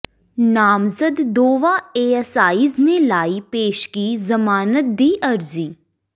ਨਾਮਜ਼ਦ ਦੋਵਾਂ ਏਐੱਸਆਈਜ਼ ਨੇ ਲਾਈ ਪੇਸ਼ਗੀ ਜ਼ਮਾਨਤ ਦੀ ਅਰਜ਼ੀ